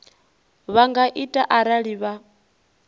vha nga ita arali vha